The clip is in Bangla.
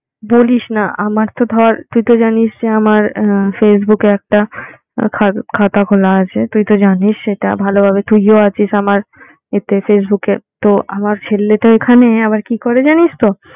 বলিস না আমার তো ধর তুই তো জানিস যে, আমার আহ facebook একটা খা~ খাতা খোলা আছে তুই তো জানিস সেটা ভালোভাবে তুইও আছিস আমার এতে facebook এ। তো আমার ছেলেটা ওইখানে আবার কি করে জানিস তো